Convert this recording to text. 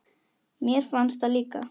Mér fannst það líka.